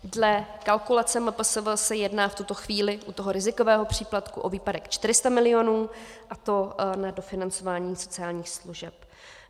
Dle kalkulace MPSV se jedná v tuto chvíli u toho rizikového příplatku o výpadek 400 mil., a to na dofinancování sociálních služeb.